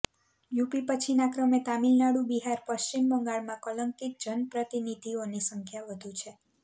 UP પછીના ક્રમે તામિલનાડુ બિહાર પશ્ચિમ બંગાળમાં કલંકિત જનપ્રતિનિધિઓની સંખ્યા વધુ છે